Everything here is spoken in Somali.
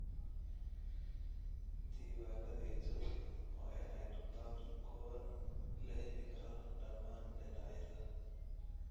Diiwaanadayadu waa inay noqdaan kuwo la heli karo dhammaan dhinacyada.